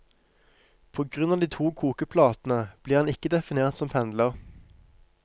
På grunn av de to kokeplatene blir han ikke definert som pendler.